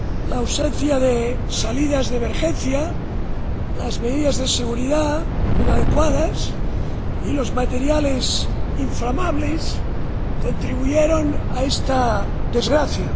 La ausencia de salidas de emergencia, las medidas de seguridad inadecuadas y los materiales inflamables contribuyeron a esta desgracia.